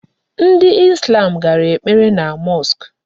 Ndị Islam gara ekpere na mosque.